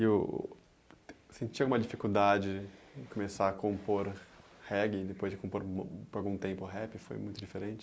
E o... Você tinha uma dificuldade em começar a compor reggae e depois de compor por algum tempo rap foi muito diferente?